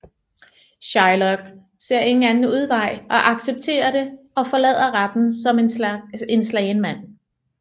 Shylock ser ingen anden udvej og accepterer det og forlader retten som en slagen mand